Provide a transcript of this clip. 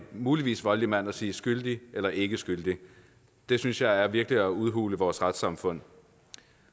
muligvis voldelig mand og sige skyldig eller ikke skyldig det synes jeg virkelig er at udhule vores retssamfund